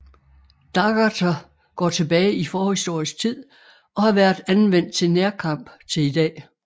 Daggerter går tilbage i forhistorisk tid og har været anvendt til nærkamp til i dag